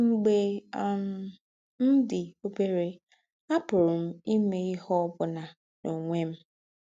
“ M̀gbè um m̀ dì óbèrè, àpùrù m̀ ímè íhe ọ́ bùnà n’ònwè m̀. ”